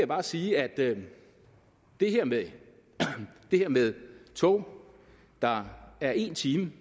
bare sige at det her med her med tog der er en time